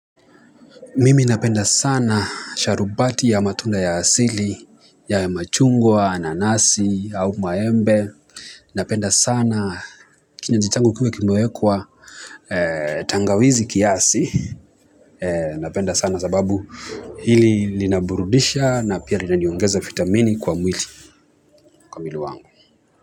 Mimi napenda sana sharubati ya matunda ya asili, ya machungwa, nanasi, au maembe. Napenda sana kinywaji changu kiuwe kime wekwa tangawizi kiasi. Napenda sana sababu hili linaburudisha na pia linaniongeza vitamini kwa mwili kwa mwili wangu.